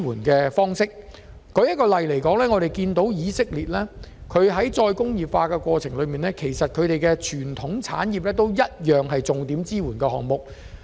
舉例來說，以色列在再工業化的過程中，把當地的傳統產業列作重點支援產業。